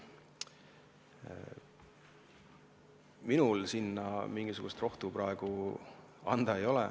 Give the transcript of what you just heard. Minul selle vastu mingisugust rohtu praegu anda ei ole.